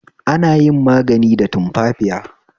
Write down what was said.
Ana yin magani da tumfafiya